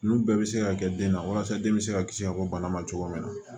Nun bɛɛ bɛ se ka kɛ den na walasa den bɛ se ka kisi ka bɔ bana ma cogo min na